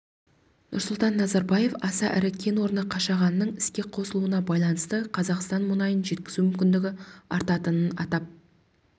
нұрсұлтан назарбаев аса ірі кен орны қашағанның іске қосылуына байланысты қазақстан мұнайын жеткізу мүмкіндігі артатынын атап